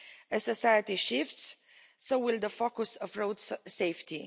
As society shifts, so will the focus of road safety.